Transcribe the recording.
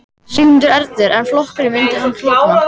Sigmundur Ernir: En flokkurinn, myndi hann klofna?